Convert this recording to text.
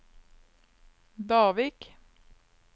Davik